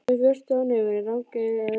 Með vörtu á nefinu, rangeygur, eða hvað?